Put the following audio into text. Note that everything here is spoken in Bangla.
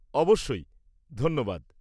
অবশ্যই, ধন্যবাদ।